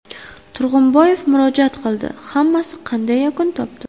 Turg‘unboyev murojaat qildi, hammasi qanday yakun topdi?